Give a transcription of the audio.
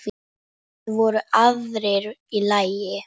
Það voru aðfarir í lagi!